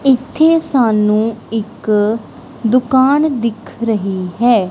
ਇੱਥੇ ਸਾਨੂੰ ਇੱਕ ਦੁਕਾਨ ਦਿਖ ਰਹੀ ਹੈ।